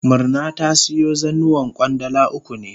Murna ta siyo zannuwan Kwandala uku ne.